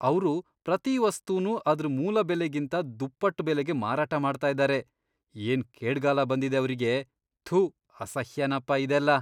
ಅವ್ರು ಪ್ರತೀ ವಸ್ತುನೂ ಅದ್ರ್ ಮೂಲ ಬೆಲೆಗಿಂತ ದುಪ್ಪಟ್ಟ್ ಬೆಲೆಗೆ ಮಾರಾಟ ಮಾಡ್ತಾ ಇದಾರೆ. ಏನ್ ಕೇಡ್ಗಾಲ ಬಂದಿದೆ ಅವ್ರಿಗೆ! ಥು, ಅಸಹ್ಯನಪ ಇದೆಲ್ಲ!